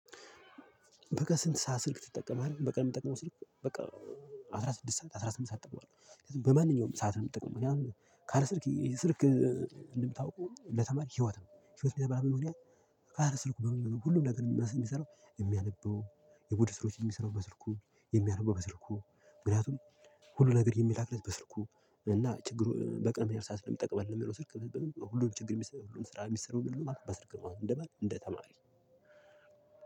በቃ ስንት ሰዓት ስልክ ትጠቀማለህ? በቃ የምጠቀመው ስልክ በቃ አስራ ስድስት ሰዓት አስራ ስምንት ሰዓት እጠቀማለህ በማንኛውም ሰዓት ነው። የምጠቀመው እኛ ካለ ስልክ ስልክ እንደምታውቁ ለተማሪ ህይወት ነው። ህይወት እንደምታውቁ ካለ ካልሰርኩ በመንገድ ሁሉም ነገር የሚመራ የሚሰራው የሚያነበው የቡድስ ስሮች የሚሰራው በስልኩ የሚያነበው በስልኩ ምክንያቱም ሁሉ ነገር የሚላክለት በስልኩ። እና ችግሩ በቅንብ ያርሳል ሰዓት የሚጠቅመን የሚለው ስልክ። ሁሉም ችግር ሁሉም ስራ የሚሰሩ በምን በስር እንደማን እንደ ተማሪ